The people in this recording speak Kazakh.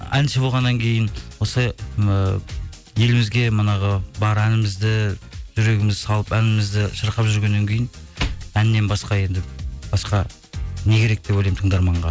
әнші болғаннан кейін осы ыыы елімізге манағы бар әнімізді жүрегімізді салып әнімізді шырқап жүргеннен кейін әннен басқа енді басқа не керек деп ойлаймын тыңдарманға